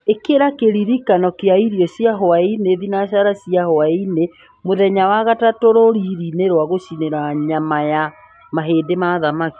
ĩkĩra kĩririkano kĩa irio cia hwaĩinĩ thinacara cia hwaĩinĩ mũthenya wa gatatũ rũriri-inĩ rwa gũcinĩĩra nyama ya mahĩndĩ ma thamaki